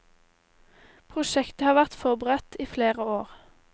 Prosjektet har vært forberedt i flere år.